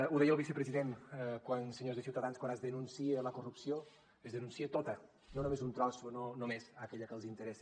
ho deia el vicepresident senyors de ciutadans quan es denuncia la corrupció es denuncia tota no només un tros o no només aquella que els interessa